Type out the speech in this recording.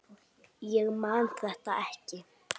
Ég man þetta ekki.